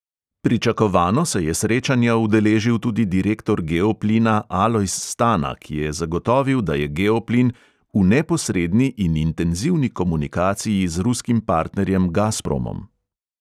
Pričakovano se je srečanja udeležil tudi direktor geoplina alojz stana, ki je zagotovil, da je geoplin "v neposredni in intenzivni komunikaciji z ruskim partnerjem gazpromom".